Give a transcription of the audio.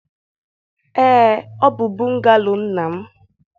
Ee, ọ bụ bungalo nna m